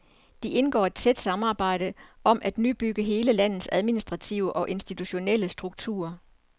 De indgår et tæt samarbejde om at nyopbygge hele landets administrative og institutionelle struktur.